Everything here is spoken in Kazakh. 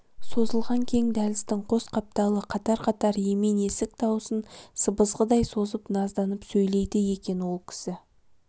созылған кең дәліздің қос қапталы қатар-қатар емен есік дауысын сыбызғыдай созып назданып сөйлейде екен ол кісі